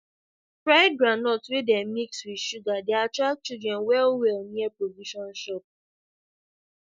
fried groundnut wey dem mix with sugar dey attract children well well near provision shop